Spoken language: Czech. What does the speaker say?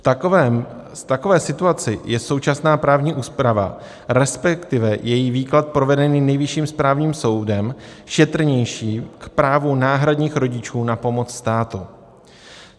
V takové situaci je současná právní úprava, respektive její výklad provedený Nejvyšším správním soudem, šetrnější k právu náhradních rodičů na pomoc státu.